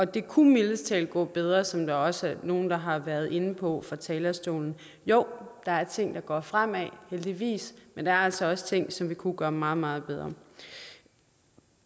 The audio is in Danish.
det kunne mildest talt gå bedre som der også er nogle der har været inde på fra talerstolen jo der er ting der går fremad heldigvis men der er altså også ting som vi kunne gøre meget meget bedre